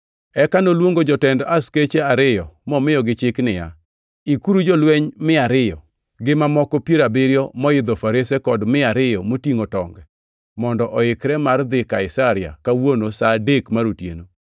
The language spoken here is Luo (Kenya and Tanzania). Eka noluongo jotend askeche ariyo momiyogi chik niya, “Ikuru jolweny mia ariyo, gi mamoko piero abiriyo moidho farese kod mia ariyo motingʼo tonge mondo oikre mar dhi Kaisaria kawuono sa adek mar otieno.